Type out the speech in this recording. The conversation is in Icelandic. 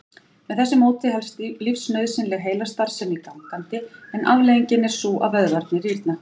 Með þessu móti helst lífsnauðsynleg heilastarfsemi gangandi en afleiðingin er sú að vöðvarnir rýrna.